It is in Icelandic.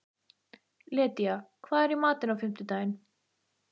Lydía, hvað er í matinn á fimmtudaginn?